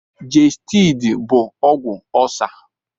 Gestidi bụ ọgwụ ọlcer.